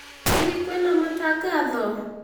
Hihi kwĩ na matangatho